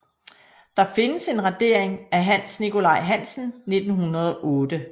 Der findes en radering af Hans Nikolaj Hansen 1908